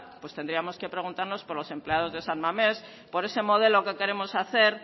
pues tendríamos que preguntarnos por los empleados de san mamés por ese modelo que queremos hacer